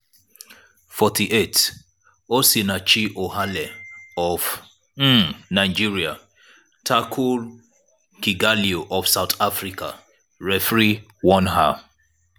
43' osinachi ohale of um nigeria tackle kgatloe of south africa referee warn her.